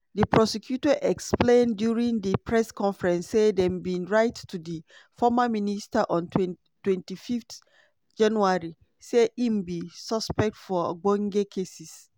di prosecutor explain during di press conference say dem bin write to di former minister on 25 january say im be suspect for ogbonge cases